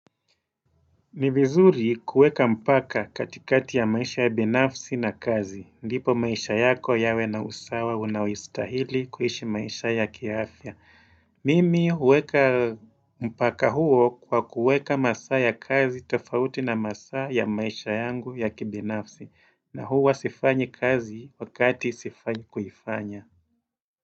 Ni vizuri kueka mpaka katikati ya maisha ya binafsi na kazi. Ndipo maisha yako yawe na usawa unaoistahili kuhishi maisha ya kiafya. Mimi huweka mpaka huo kwa kueka masaa ya kazi tofauti na masaa ya maisha yangu ya kibinafsi. Na huo wa sifanyi kazi wakati sifanyi kufanya.